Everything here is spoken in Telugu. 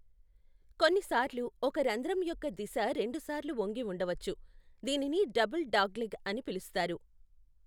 కొన్నిసార్లు, ఒక రంధ్రం యొక్క దిశ రెండుసార్లు వంగి ఉండవచ్చు, దీనిని డబుల్ డాగ్లెగ్ అని పిలుస్తారు.